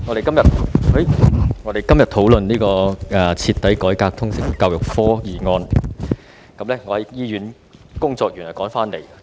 主席，我們今天討論"徹底改革通識教育科"的議案。